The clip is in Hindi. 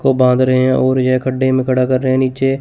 को बांध रहे हैं और यह गड्ढे में खड़ा कर रहे हैं नीचे--